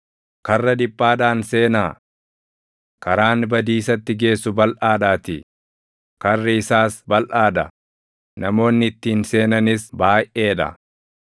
“Karra dhiphaadhaan seenaa. Karaan badiisatti geessu balʼaadhaatii; karri isaas balʼaa dha; namoonni ittiin seenanis baayʼee dha.